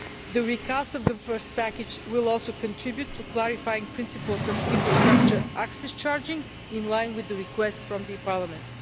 The recast of the first package will also contribute to clarifying principles of infrastructure access charging, in line with the request from Parliament.